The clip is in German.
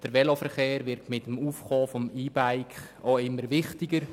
Der Veloverkehr wird mit dem Aufkommen des E-Bikes auch immer wichtiger.